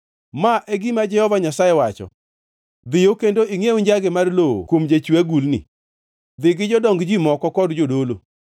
Ma e gima Jehova Nyasaye wacho: “Dhiyo kendo ingʼiew njage mar lowo kuom jachwe agulni. Dhi gi jodong ji moko kod jodolo